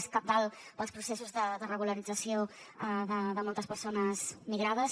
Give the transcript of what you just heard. és cabdal per als processos de regularització de moltes persones migrades